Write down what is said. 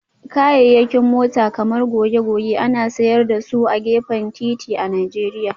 Kayayyakin mota kamar goge-goge ana sayar da su a gefen titi a Najeriya